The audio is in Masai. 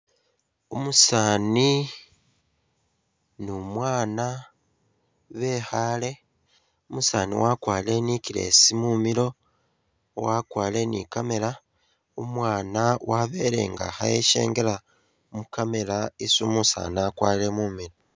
Umusani nu'mwaana bekhale, umusani wakwarile i'neckless mumilo, wakwarile ni'camera, umwaana wabele nga eshengela mu'camera isi umusani akwarile mumilo